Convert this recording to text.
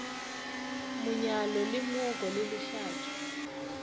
monyalo le mooko le lehlatšo